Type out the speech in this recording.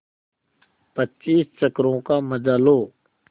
पच्चीस चक्करों का मजा लो